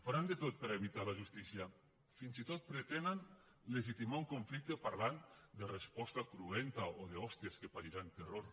faran de tot per evitar la justícia fins i tot pretenen legitimar un conflicte parlant de resposta cruenta o d’hòsties que pariran terror